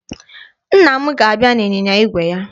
Nna m ga-abịa n'ịnyịnya igwe ya